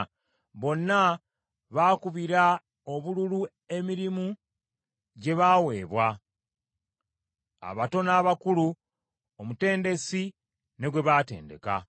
Bonna baakubira obululu emirimu gye baaweebwa, abato n’abakulu, omutendesi ne gwe batendeka.